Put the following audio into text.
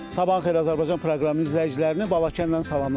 Sabahın xeyir Azərbaycan proqramının izləyicilərini Balakəndən salamlayıram.